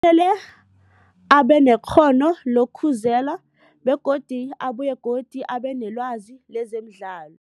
Abanekghono lokukhuzela begodu abuye godu abenelwazi lezemidlalo.